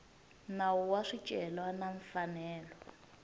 nawu wa swicelwa na mfanelo